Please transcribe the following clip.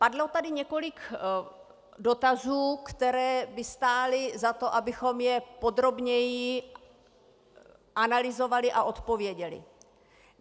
Padlo tady několik dotazů, které by stály za to, abychom je podrobněji analyzovali a odpověděli.